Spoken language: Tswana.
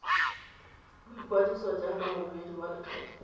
boikwadiso jaaka moduedi wa lekgetho